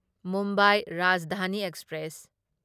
Mumbai Rajdhani express